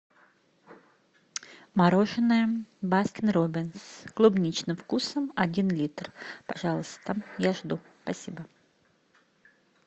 мороженное баскин роббинс с клубничным вкусом один литр пожалуйста я жду спасибо